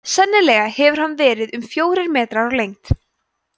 sennilega hefur hann verið um fjórir metrar á lengd